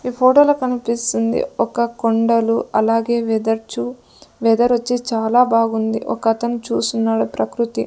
ఈ ఫోటోలో కనిపిస్తుంది ఒక కొండలు అలాగే వెధర్చు వెదర్ వచ్చి చాలా బాగుంది ఒకతను చూస్తున్నాడు ప్రకృతి.